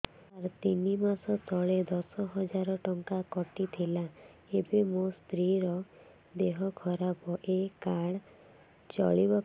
ସାର ତିନି ମାସ ତଳେ ଦଶ ହଜାର ଟଙ୍କା କଟି ଥିଲା ଏବେ ମୋ ସ୍ତ୍ରୀ ର ଦିହ ଖରାପ ଏ କାର୍ଡ ଚଳିବକି